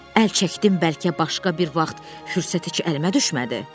Əl çəkdim, bəlkə başqa bir vaxt fürsət heç əlimə düşmədi?